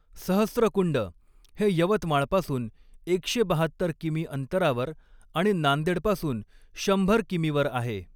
सहस्रकुंड हे यवतमाळपासून एकशे बहात्तर कि.मी. अंतरावर आणि नांदेडपासून शंभर कि.मी.वर आहे.